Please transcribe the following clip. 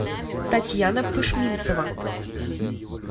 татьяна пышминцева